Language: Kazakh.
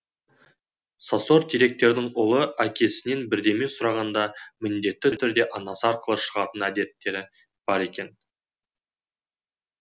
сосор директордің ұлы әкесінен бірдеме сұрағанда міндетті түрде анасы арқылы шығатын әдеттері бар екен